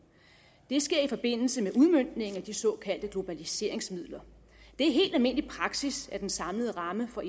det sker i forbindelse med udmøntningen af de såkaldte globaliseringsmidler det er helt almindelig praksis at den samlede ramme for